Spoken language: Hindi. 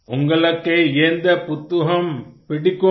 उन्गलक्के येन्द पुत्तहम पिडिक्कुम